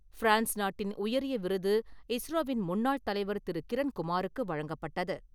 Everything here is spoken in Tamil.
பிரான்ஸ் நாட்டின் உயரிய விருது இஸ்ரோவின் முன்னாள் தலைவர் திரு. கிரண் குமாருக்கு வழங்கப்பட்டது.